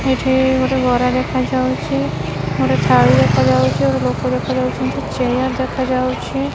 ଏଇଠି ଗୋଟେ ଗରା ଦେଖାଯାଉଛି ଗୋଟେ ଥାଳି ଦେଖାଯାଉଚି ଆଉ ଗୋଟେ ଲୋକ ଦେଖାଯାଉଛନ୍ତି ଚେୟାର ଦେଖାଯାଉଛି।